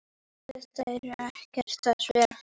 Þeir eru ekkert að spila?